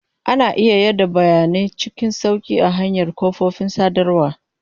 Ana iya yada bayanai cikin sauƙi ta hanyar kafofin sadarwa.